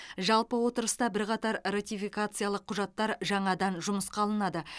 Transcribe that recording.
жалпы отырыста бірқатар ратификациялық құжаттар жаңадан жұмысқа алынады